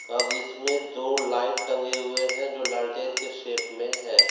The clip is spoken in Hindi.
और इसमें दो लाइट टंगे हुए हैं जो लालटेन के शेप में हैं।